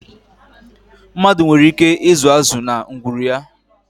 Mmadụ nwere ike ịzụ azụ na ngwuru ya.